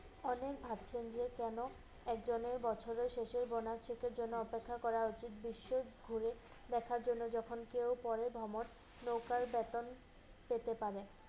অনেক ভাব জমিয়ে কেনো একজনের বছরের শেষের bonus cheque এর জন্য অপেক্ষা করা উচিৎ? বিশ্ব ঘুরে দেখার জন্য যখন কেউ পরে ভ্রমণ নৌকার বেতন পেতে পারে।